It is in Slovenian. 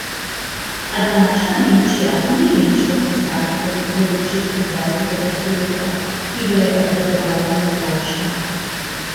A današnja Nemčija ni nemško cesarstvo z začetka dvajsetega stoletja, ki ga je obvladoval generalštab.